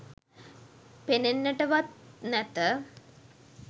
පෙනෙන්නටවත් නැත